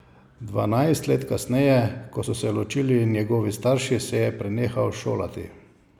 Dvanajst let kasneje, ko so se ločili njegovi starši, se je prenehal šolati.